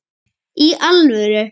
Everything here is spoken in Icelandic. Í alvöru?